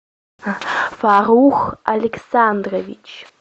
фарух александрович